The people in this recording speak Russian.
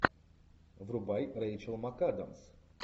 врубай рэйчел макадамс